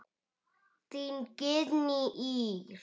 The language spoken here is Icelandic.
Þín Guðný Ýr.